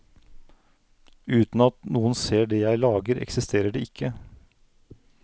Uten at noen ser det jeg lager, eksisterer det ikke.